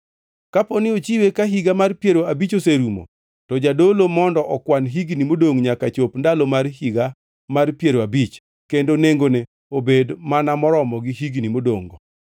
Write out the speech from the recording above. Kaponi ochiwe ka Higa mar Piero Abich oserumo, to jadolo mondo okwan higni modongʼ nyaka chop ndalo mar Higa mar Piero Abich, kendo nengone obed mana maromo gi higni modongʼ-go.